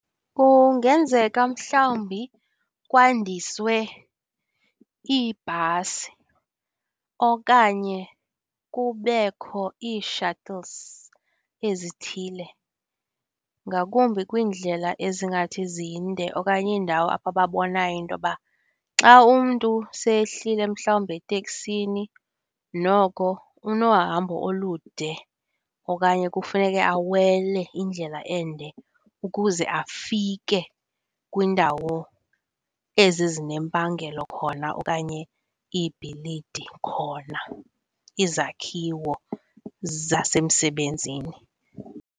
Kungenzeka mhlawumbi kwandiswe iibhasi okanye kubekho ii-shuttles ezithile, ngakumbi kwiindlela ezingathi zinde okanye iindawo apho ababonayo intoba xa umntu sehlile mhlawumbi eteksini noko unohambo olude okanye kufuneke awele indlela ende ukuze afike kwindawo ezi zinempangelo khona okanye iibhilidi khona, izakhiwo zasemsebenzini.